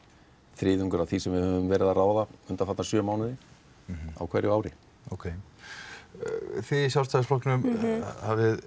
þriðjungur af því sem við höfum verið að ráða undanfarna sjö mánuði á hverju ári þið í Sjálfstæðisflokknum hafið